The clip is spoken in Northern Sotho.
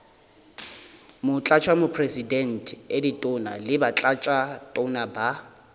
motlatšamopresidente ditona le batlatšatona ba